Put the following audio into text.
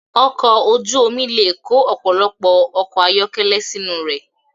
Ọkọ̀ ojú omi le kó ọ̀pọ̀lọpọ̀ ọkọ̀ ayọ́kẹ́lẹ́ sínú rẹ̀.